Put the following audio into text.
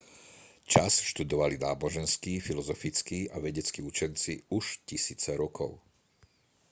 čas študovali náboženskí filozofickí a vedeckí učenci už tisíce rokov